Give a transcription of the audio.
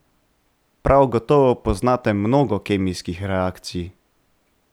Prav gotovo poznate mnogo kemijskih reakcij.